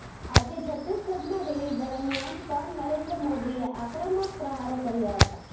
આજે છત્તીસગઢમાં રેલી દરમિયાન પણ નરેન્દ્ર મોદીએ આક્રમક પ્રહારો કર્યા હતા